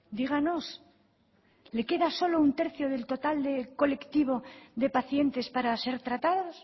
díganos le queda solo un tercio del total de colectivo de pacientes para ser tratados